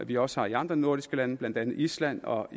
de også har i andre nordiske lande blandt andet i island og